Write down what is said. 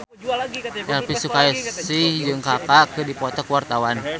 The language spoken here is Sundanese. Elvi Sukaesih jeung Kaka keur dipoto ku wartawan